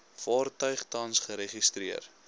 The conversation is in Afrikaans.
vaartuig tans geregistreer